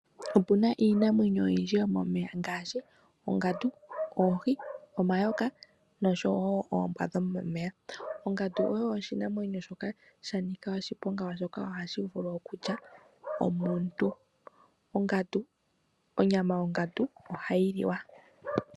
Opuna iinamwenyo oyindji yo momeya ngaashi ongandu , oohi , omayoka noshowo oombwa dhomomeya . Ongandu oyo oshinamwenyo shoka shanika oshiponga oshoka ohashi vulu okulya omuntu. Onyama yongandu ohayi liwa.